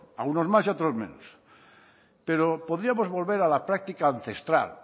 a algunos más y a otros menos pero podríamos volver a la práctica ancestral